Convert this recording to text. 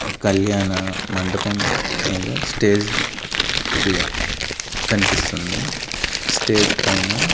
ఒక్ కళ్యాణ మండపం మీద స్టేజ్ కన్పిస్తుంది స్టేజ్ పైన--